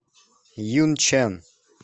юньчэн